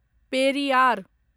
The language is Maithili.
पेरियार